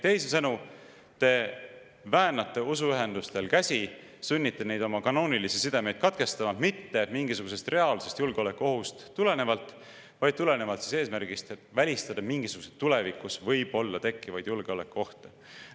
Teisisõnu, te väänate usuühendustel käsi, sunnite neid oma kanoonilisi sidemeid katkestama mitte tulenevalt mingisugusest reaalsest julgeolekuohust, vaid tulenevalt eesmärgist, et välistada mingisuguseid tulevikus võib-olla tekkivaid julgeolekuohte.